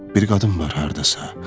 Bir qadın var hardasa.